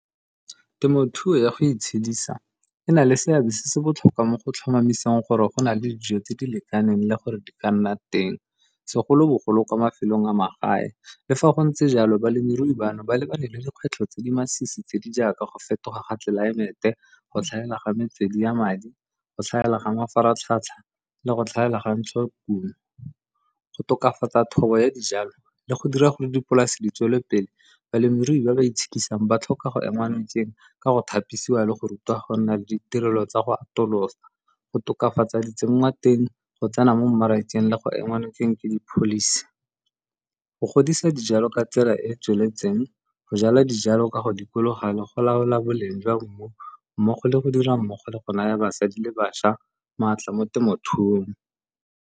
Temothuo ya go itshedisa e na le seabe se se botlhokwa mo go tlhomamiseng gore go na le dijo tse di lekaneng le gore di ka nna teng segolobogolo kwa mafelong a magae. Le fa go ntse jalo balemirui bano ba lebane le dikgwetlho tse di masisi tse di jaaka go fetoga ga tlelaemete go tlhaela ga metswedi ya madi go tlhaela ga mafaratlhatlha le go tlhaela ga ntsho kumo. Go tokafatsa thobo ya dijalo le go dira gore dipolase di tswele pele, balemirui ba ba itshedisa ba tlhoka go engwa nokeng ka go thapisiwa le go rutiwa go nna le ditirelo tsa go atolosa, go tokafatsa di tsengwa teng go tsena mo mmarakeng le go ema nokeng ke di-policy. Go godisa dijalo ka tsela e e tsweletseng, go jala dijalo ka go dikologa le go laola boleng jwa mmu mmogo le go dira mmogo le go naya basadi le bašwa maatla mo temothuong.